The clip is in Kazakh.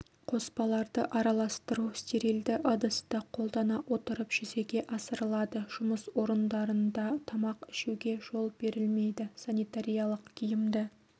қоспаларды араластыру стерилді ыдысты қолдана отырып жүзеге асырылады жұмыс орындарында тамақ ішуге жол берілмейді санитариялық киімді